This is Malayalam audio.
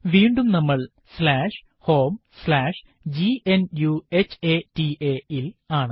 വീണ്ടും നമ്മൾ homegnuhata ൽ ആണ്